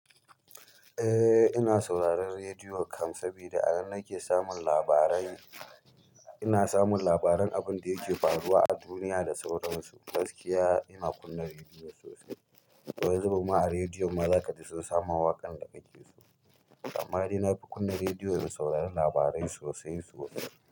Eh ina sauraron rediyo kamsabi da alalan nake samun labarai. Ina samun labaran abinda yake faruwa a duniya da sauransu. Gaskiya ina kunna rediyo sosai. Wanizubin ma a rediyon ma zaka ji sun sama waƙan da kake so. Amma dai na fi kunna rediyo in saurari labarai sosai sosai.